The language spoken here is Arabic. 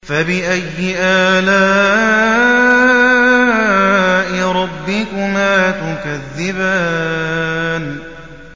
فَبِأَيِّ آلَاءِ رَبِّكُمَا تُكَذِّبَانِ